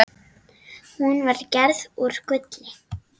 Hún var gerð úr gulli.